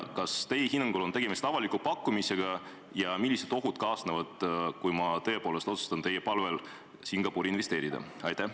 Kas teie hinnangul on tegemist avaliku pakkumisega ja millised ohud kaasnevad, kui ma tõepoolest otsustan teie palvel Singapuri investeerida?